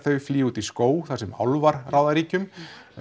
flýja út í skóg þar sem álfar ráða ríkjum